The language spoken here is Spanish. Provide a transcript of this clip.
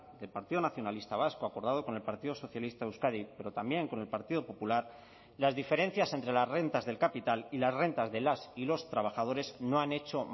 del partido nacionalista vasco acordado con el partido socialista de euskadi pero también con el partido popular las diferencias entre las rentas del capital y las rentas de las y los trabajadores no han hecho